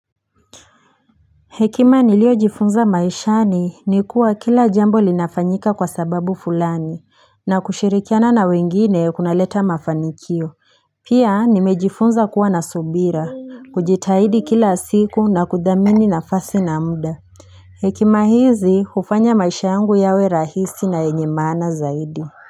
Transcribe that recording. Hekima nilio jifunza maishani ni kuwa kila jambo linafanyika kwa sababu fulani, na kushirikiana na wengine kuna leta mafanikio. Pia nimejifunza kuwa nasubira, kujitahidi kila siku na kudhamini nafasi na muda. Hekima hizi hufanya maisha yangu yawe rahisi na yenye maana zaidi.